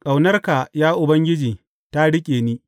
ƙaunarka, ya Ubangiji, ta riƙe ni.